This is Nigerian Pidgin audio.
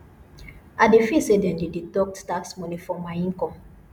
i dey feel say dem dey deduct tax money from my income